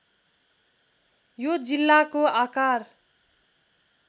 यो जिल्लाको आकार